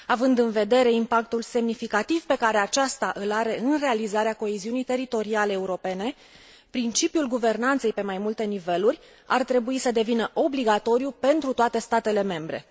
Având în vedere impactul semnificativ pe care aceasta îl are în realizarea coeziunii teritoriale europene, principiul guvernanței pe mai multe niveluri ar trebui să devină obligatoriu pentru toate statele membre.